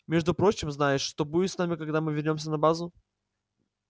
между прочим знаешь что будет с нами когда мы вернёмся на базу